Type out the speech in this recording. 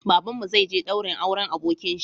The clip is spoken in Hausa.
Babanmu zai je daurin auren abokinshi